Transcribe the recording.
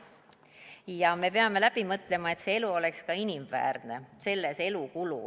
Ja me peame läbi mõtlema, et see elu oleks ka inimväärne.